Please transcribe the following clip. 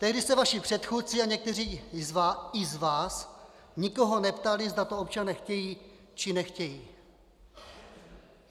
Tehdy se vaši předchůdci a někteří i z vás nikoho neptali, zda to občané chtějí, či nechtějí.